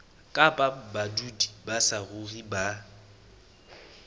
kapa badudi ba saruri ba